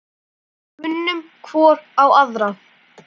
Við kunnum hvor á aðra.